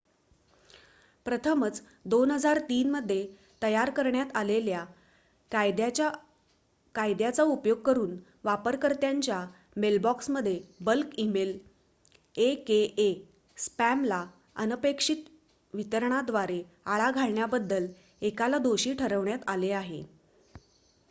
प्रथमच २००३ मध्ये तयार करण्यात आलेल्या कायद्याचा उपयोग करून वापरकर्त्याच्या मेलबॉक्समध्ये बल्क इमेल aka स्पॅमला अनपेक्षित वितरणाद्वारे आळा घातल्याबद्दल एकाला दोषी ठरवण्यात आले आहे